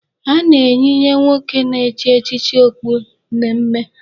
A na-eyinye nwoke na-echi echichi okpu mmemme.